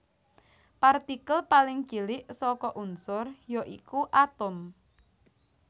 Partikel paling cilik saka unsur ya iku atom